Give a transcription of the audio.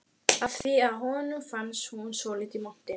af því að honum fannst hún svolítið montin.